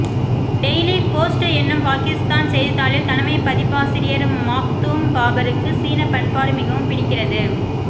daily Post என்னும் பாகிஸ்தான் செய்தித்தாளின் தலைமைப் பதிப்பாசிரியர் மாக்தூம் பாபருக்கு சீனப்பண்பாடு மிகவும் பிடிக்கிறது